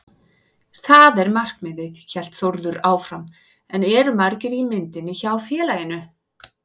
Það er markmiðið, hélt Þórður áfram en eru margir í myndinni hjá félaginu?